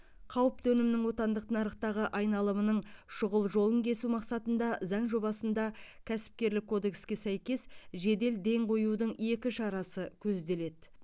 қауіпті өнімнің отандық нарықтағы айналымының шұғыл жолын кесу мақсатында заң жобасында кәсіпкерлік кодекске сәйкес жедел ден қоюдың екі шарасы көзделеді